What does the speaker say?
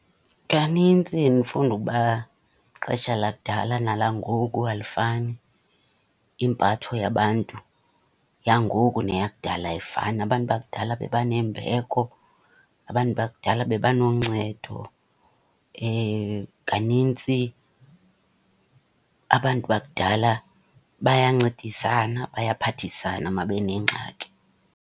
Kanintsi ndifunda ukuba ixesha lakudala nalangoku alifani. Impatho yabantu yangoku neyakudala ayifani. Abantu bakudala bebanembeko, abantu bakudala bebanoncedo. Kanintsi abantu bakudala bayancedisana, bayaphathisana uma benengxaki.